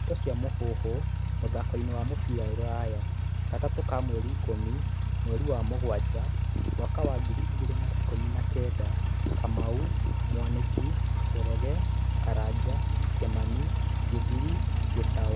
Ndeto cia Mũhuhu, mũthakoini wa mũbĩra rũraya, Gatatũ ka mweri ikũmi, mweri wa mũgwaja, mwaka wa ngiri igĩrĩ na ikumi na kenda:Kamau, Mwaniki, Njoroge, Karanja, Kimani, Githiri, Gitau